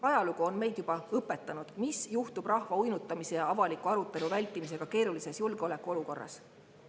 Ajalugu on meid juba õpetanud, mis juhtub rahva uinutamise ja avaliku arutelu vältimisega keerulises julgeolekuolukorras.